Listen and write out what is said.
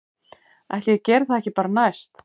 Ætli ég geri það ekki bara næst